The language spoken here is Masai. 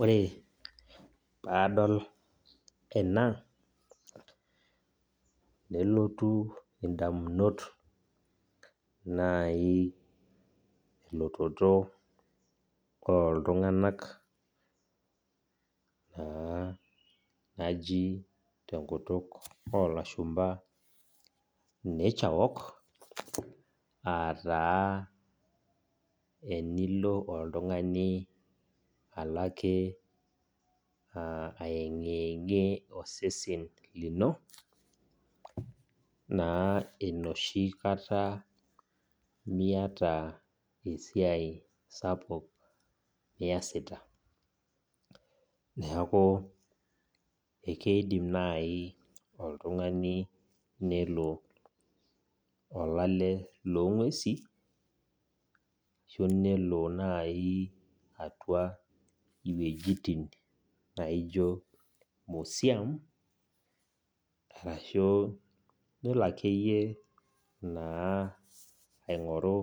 Ore paadol eba nelotu ndamunot naai elototo oltunganak naji tenkutuk oolashumba naturewalk aaah taa tenilo oltungani ayengiyengie osesen lino enoshi kata miata esia sapuk niasita. Keidim naji oltungani nelo olale loonguesin ashuu elo museum arashu elo akeyie aingoru